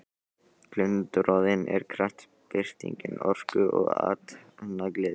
Glundroðinn er kraftbirting orku og athafnagleði.